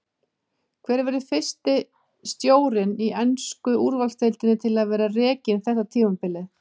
Hver verður fyrsti stjórinn í ensku úrvalsdeildinni til að vera rekinn þetta tímabilið?